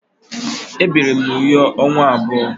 Ebiri m na Uyo ọnwa abụọ.